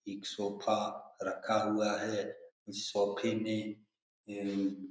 एक सोफ़ा रखा हुआ है इस सोफ़े में --